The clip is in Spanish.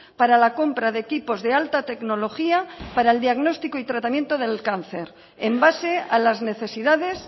para la compra de equipos de alta tecnología para el diagnóstico y tratamiento del cáncer en base a las necesidades